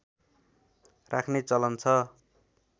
राख्ने चलन छ